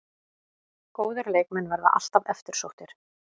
Góðir leikmenn verða alltaf eftirsóttir